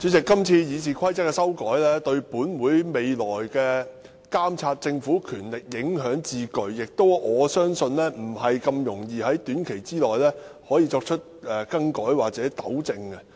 主席，這次《議事規則》的修訂對立法會未來監察政府的權力影響至巨，我相信難以在短期內更改或糾正。